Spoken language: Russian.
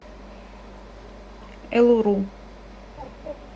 элуру